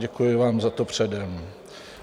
Děkuji vám za to předem.